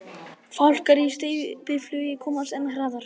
Fálkar í steypiflugi komast enn hraðar.